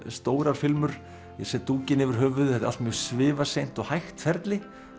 stórar filmur ég set dúkinn yfir höfuðið þetta er allt mjög svifaseint og hægt ferli